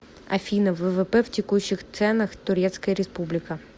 афина ввп в текущих ценах турецкая республика